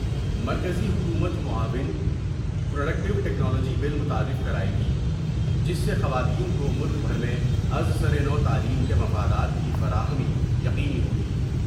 مرکزی حکومت معاون پروڈیکٹیوٹیکنالوجی بل متعارف کرائے گی جس سے خواتین کو ملک بھر میں از سر و تعلیم کے مفادات کی فراہمی یقینی ہوگی ۔